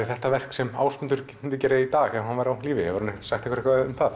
þetta verk sem Ásgrímur myndi gera í dag ef hann væri á lífi hefur hann sagt eitthvað um það